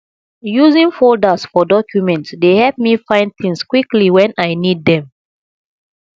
using folders for documents dey help me find things quickly when i need them